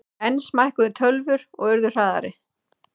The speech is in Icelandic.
Enn smækkuðu tölvur og urðu hraðari.